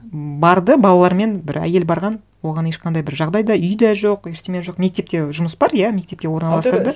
м барды балалармен бір әйел барған оған ешқандай бір жағдай да үй де жоқ ештеңе жоқ мектепте жұмыс бар иә мектепке орналастырды